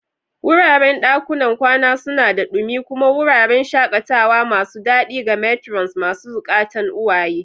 Wuraren dakunan kwana suna da ɗumi kuma wuraren shakatawa masu daɗi ga matrons masu zukatan uwaye.